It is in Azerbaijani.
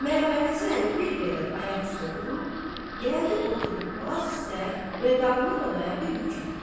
Məhəmməd Həsən əmi bir qədər ayaq üstə durub, gəldi oturdu palaz üstə və dalını da dayadı yükə.